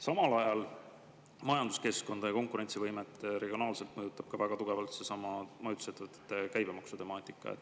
Samal ajal majanduskeskkonda ja konkurentsivõimet regionaalselt mõjutab ka väga tugevalt seesama majutusettevõtete käibemaksu temaatika.